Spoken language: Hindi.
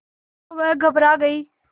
तो वह घबरा गई